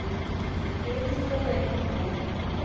e tênis também. É